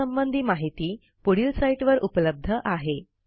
यासंबंधी माहिती पुढील साईटवर उपलब्ध आहे